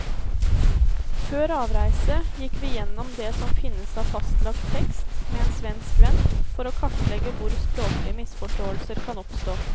Før avreise gikk vi gjennom det som finnes av fastlagt tekst med en svensk venn, for å kartlegge hvor språklige misforståelser kan oppstå.